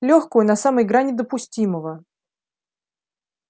лёгкую на самой грани допустимого